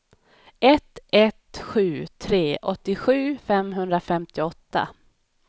ett ett sju tre åttiosju femhundrafemtioåtta